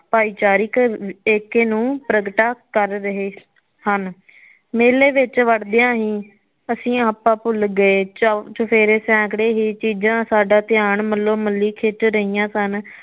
ਭਾਈਚਾਰੀਕ ਏਕੇ ਨੂੰ ਪ੍ਰਗਟਾ ਕਰ ਰਹੇ ਹਨ ਮੇਲੇ ਵਿਚ ਵੜਦੀਆ ਹੀ ਅਸੀ ਆਰਾ ਭੁਲ ਗਏ ਚੋਰ ਚਫ਼ੇਰੇ ਸੈਕੜੇ ਹੀ ਚੀਜ਼ਾ ਸਾਡਾ ਧਿਆਨ ਮੱਲੋ ਮਲੀ ਖਿਚ ਰਹਿਆ ਸਨ